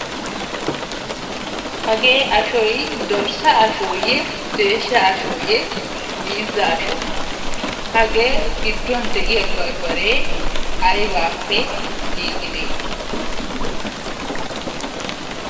hagee ashoy dorsa ashooyee desha ashoyee miizza ashoo! hagee giduwan de'iya barbaree aybaappe giigidee?